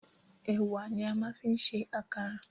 Ẹ̀wà ni a máa ń fi ń ṣe àkàrà